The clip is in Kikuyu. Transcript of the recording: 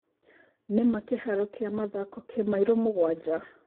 nĩ maa kĩharo kĩa mĩthako ki maĩro mũgwaja